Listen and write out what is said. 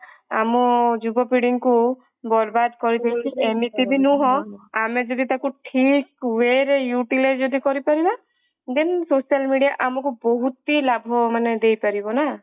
ଆମ ଯୁବପିଢୀଙ୍କୁ ବରବାଦ କରିଦବ ଏମିତି ବି ନୁହଁ ଆମେ ଯଦି ତାକୁ ଠିକ way ରେ utilize ରେ ଯଦି କରିପାରିବା then social media ଆମକୁ ବହୁତ ହିଁ ଲାଭ ମାନେ ଦେଇପାରିବ ନା